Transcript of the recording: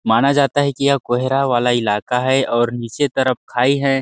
माना जाता है कि यह कोहरा वाला इलाका और नीचे की तरफ खाई है।